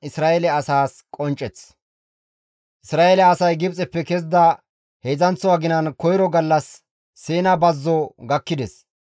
Isra7eele asay Gibxeppe kezida heedzdzanththo aginan koyro gallas Siina bazzo gakkides.